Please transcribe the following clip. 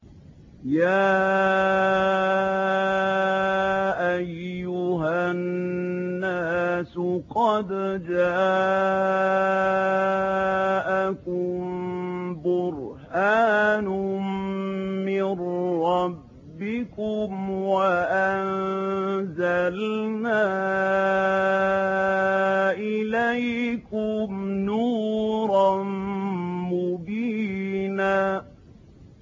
يَا أَيُّهَا النَّاسُ قَدْ جَاءَكُم بُرْهَانٌ مِّن رَّبِّكُمْ وَأَنزَلْنَا إِلَيْكُمْ نُورًا مُّبِينًا